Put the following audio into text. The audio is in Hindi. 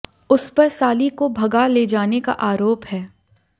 उस पर साली को भगा ले जाने का आरोप है